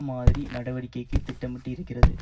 மாதிரி நடவடிக்கைக்கு திட்டமிட்டு இருக்கிறது